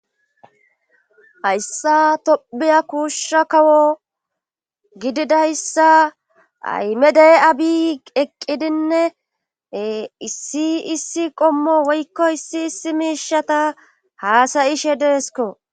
Hayssa tobiya kuushsha kawo gididayssa aymedee abi eqqidinne issi issi qommo woykko issi issi miishata haasayishe deesko.